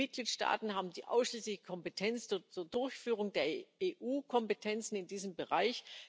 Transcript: Die Mitgliedstaaten haben die ausschließliche Kompetenz zur Durchführung der EU Kompetenzen in diesem Bereich.